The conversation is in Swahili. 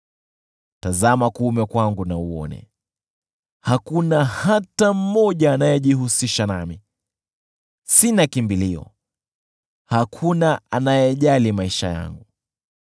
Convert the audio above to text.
Tazama kuume kwangu na uone, hakuna hata mmoja anayejihusisha nami. Sina kimbilio, hakuna anayejali maisha yangu.